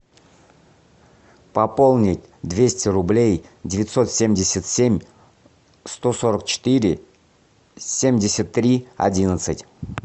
пополнить двести рублей девятьсот семьдесят семь сто сорок четыре семьдесят три одиннадцать